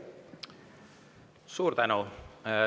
Suur tänu!